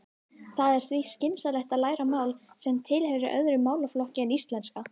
Það er því skynsamlegt að læra mál sem tilheyrir öðrum málaflokki en íslenska.